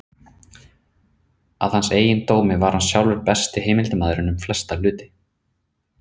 Að hans eigin dómi var hann sjálfur besti heimildarmaðurinn um flesta hluti.